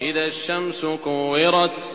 إِذَا الشَّمْسُ كُوِّرَتْ